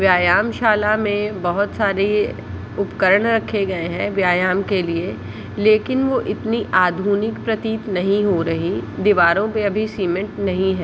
व्यायाम शाला में बहुत सारी उपकरण रखे गए है व्यायाम के लिए लेकिन वह उतनी आधुनिक प्रतित नही हो रहे दिवारो पे अभी सीमेंट नही है।